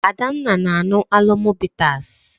Adanna na-aṅụ Alomo bitas.